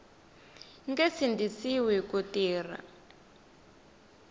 nge sindzisiwi ku tirha hi